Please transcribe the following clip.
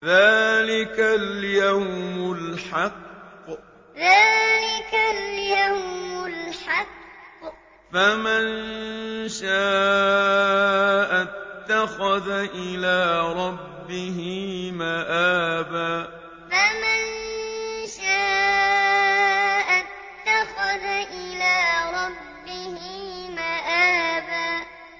ذَٰلِكَ الْيَوْمُ الْحَقُّ ۖ فَمَن شَاءَ اتَّخَذَ إِلَىٰ رَبِّهِ مَآبًا ذَٰلِكَ الْيَوْمُ الْحَقُّ ۖ فَمَن شَاءَ اتَّخَذَ إِلَىٰ رَبِّهِ مَآبًا